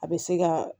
A bɛ se ka